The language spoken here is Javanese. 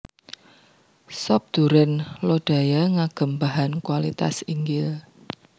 Sop Duren Lodaya ngagem bahan kualitas inggil